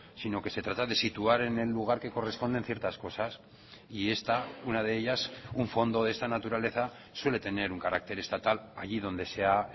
sino que se trata de situar en el lugar que corresponden ciertas cosas y esta una de ellas un fondo de esta naturaleza suele tener un carácter estatal allí donde se ha